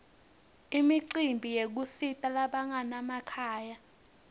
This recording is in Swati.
imicimbi yekusita labanganamakhaya